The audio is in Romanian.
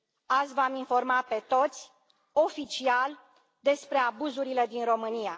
Azi v am informat pe toți, oficial, despre abuzurile din România.